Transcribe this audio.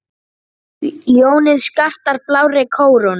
Ljónið skartar blárri kórónu.